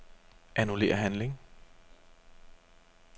Annullér handling.